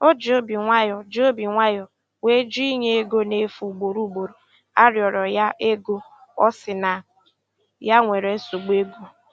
O ji obi nwayọ ji obi nwayọ wee jụ inye ego na efu ugboro ugboro a rịọrọ ya ego, ọ si na ya nwere nsogbu ego.